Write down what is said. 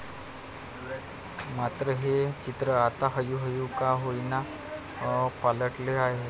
मात्र हे चित्र आता हळूहळू का होईना पालटते आहे.